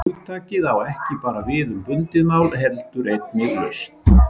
Hugtakið á ekki bara við um bundið mál heldur einnig laust.